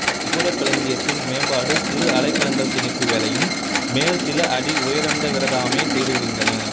கோபுரக் களஞ்சியத்தின் மேம்பாடு சிறு அறைக்களங்கள் திணிப்பு வேலையையும் மேல் சில அடி உயரந்தவிர தாமே செய்துவிடுகின்றன